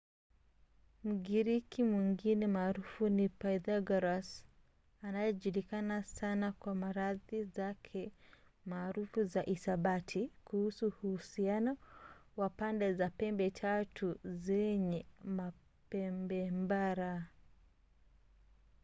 mgiriki mwingine maarufu ni pythagoras anayejulikana sana kwa nadharia zake maarufu za hisabati kuhusu uhusiano wa pande za pembe tatu zenye pembemraba